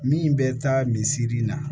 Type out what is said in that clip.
Min bɛ taa misiri la